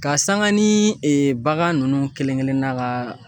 Ka sanga ni bagan nunnu kelen kelen na ka